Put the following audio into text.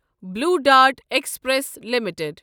blue Dart Express limited